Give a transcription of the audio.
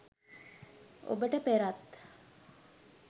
ඔබට පෙරත්